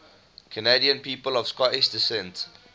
canadian people of scottish descent